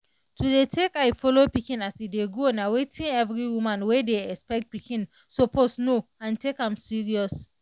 to dey take eye follow pikin as e dey grow nah wetin every woman wey dey expect pikin suppose know and take am serious.